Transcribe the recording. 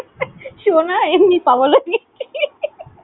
শোনা, এমনি ই পাগল হয়েগেছি।